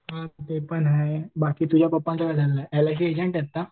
हां ते पण आहे बाकी तुझ्या पप्पांचं काय चाललेलं आहे? एलआयसी एजेंट आहेत ना